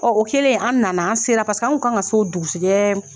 o kɛlen an nana, an sera an kun kan ka se o dugusɛjɛɛ